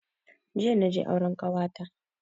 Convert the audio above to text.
Jiya naje auren kawata